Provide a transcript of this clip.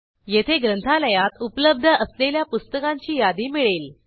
येथे ग्रंथालयात उपलब्ध असलेल्या पुस्तकांची यादी मिळेल